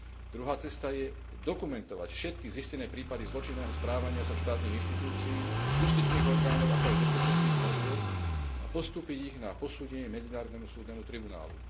Druhá cesta je dokumentovať všetky zistené prípady zločinného správania sa štátnych inštitúcií, justičných orgánov, ako aj bezpečnostných zložiek a postúpiť ich na posúdenie Medzinárodnému súdnemu tribunálu.